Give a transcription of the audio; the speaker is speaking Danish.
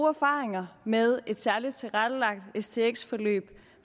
erfaringer med et særligt tilrettelagt stx forløb